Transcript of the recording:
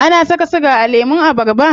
Ana saka siga a lemun abarba?